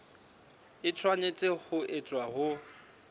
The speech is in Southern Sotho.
e tshwanetse ho etswa ho